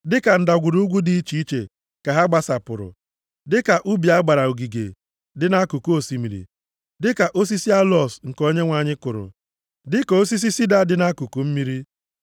“Dịka ndagwurugwu dị iche iche ka ha gbasapụrụ, dịka ubi a gbara ogige dị nʼakụkụ osimiri, dịka osisi aloos nke Onyenwe anyị kụrụ, dịka osisi sida dị nʼakụkụ mmiri.